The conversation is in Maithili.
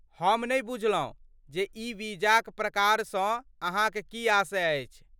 हम नहि बुझलहुँ जे ई वीजाक प्रकारसँ अहाँक की आशय अछि?